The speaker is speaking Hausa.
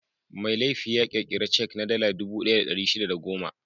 Mai laifi ya ƙirƙira cek na Dala dubu ɗaya da ɗari shida da goma.